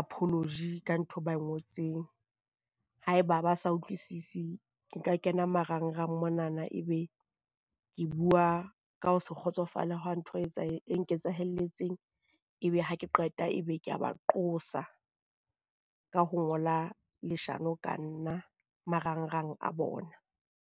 apology ka ntho e ba e ngotseng. Haeba ba sa utlwisise ke nka kena marangrang monana, e be ke bua ka ho se kgotsofale hwa ntho e etsa e nketsahalletseng e be ha ke qeta ebe ke a ba qosoa ka ho ngola leshano ka nna marangrang a bona.